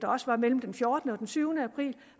mellem den fjortende og den tyvende april